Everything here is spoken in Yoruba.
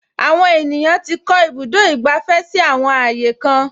Àwọn ènìyàn tí kọ́ ibùdó ìgbàfẹ́ si àwọn ààyè kan